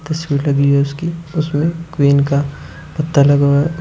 तस्वीर लगी हुई है उसकी उसमें क्वीन का पत्ता लगा हुआ है।